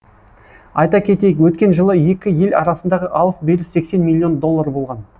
айта кетейік өткен жылы екі ел арасындағы алыс беріс сексен миллион доллар болған